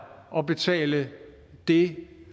at betale det